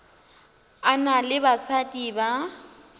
a na le basadi ba